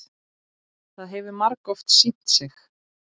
Það hefur margoft sýnt sig.